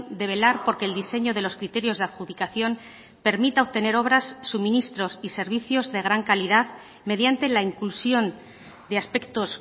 de velar por que el diseño de los criterios de adjudicación permita obtener obras suministros y servicios de gran calidad mediante la inclusión de aspectos